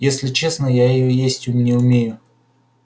если честно я её есть не умею